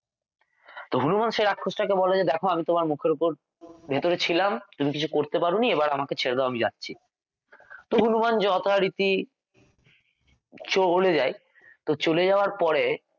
তো হনুমান রাক্ষসটাকে বলে যে দেখো আমি তোমার মুখের ওপর ভিতরে ছিলাম তুমি কিছু করতে পারোনি এবার আমাকে ছেড়ে দাও আমি যাচ্ছি তো হনুমান যথারীতি চলে যায় তো চলে যাওয়ার পরে